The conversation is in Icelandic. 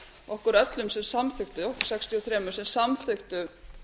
okkur öllum sem samþykktum okkur sextíu og þrjú sem samþykktum